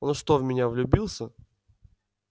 он что в меня влюбился